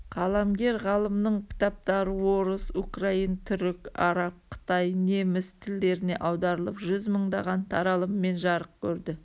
қаламгер-ғалымның кітаптары орыс украин түрік араб қытай неміс тілдеріне аударылып жүз мыңдаған таралыммен жарық көрді